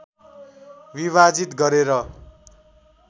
विभाजित गरेर